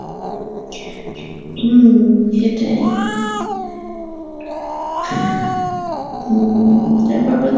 হম সেটাই উম তারপর হচ্ছে